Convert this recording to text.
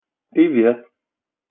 привет